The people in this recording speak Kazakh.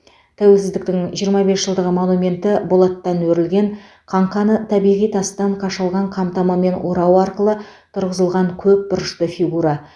тәуелсіздіктің жиырма бес жылдығы монументі болаттан өрілген қаңқаны табиғи тастан қашалған қамтамамен орау арқылы тұрғызылған көпбұрышты фигура